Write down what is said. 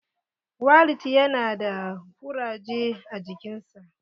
Walid ya na da ƙuraje a jikin sa.